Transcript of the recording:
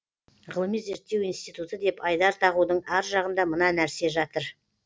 ғылыми зерттеу институты деп айдар тағудың ар жағында мына нәрсе жатыр